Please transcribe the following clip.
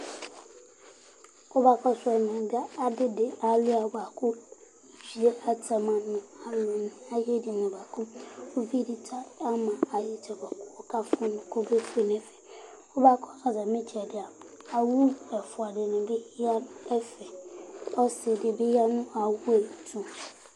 Kʋ mʋ akɔsu ɛmɛ, adi di kalʋia bʋakʋ atani adu ɛdiní bʋakʋ ʋvidí kafu kɔme fue Kʋ akɔsu atami itsɛdi ya owu ɛfʋa dìní ya nu ɛfɛ kʋ ɔsi di bi ya nʋ atami ɛtu